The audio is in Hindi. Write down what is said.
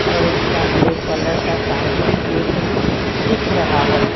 और उसका ब्लैक कलर का सामने गेट भी दिख रहा है।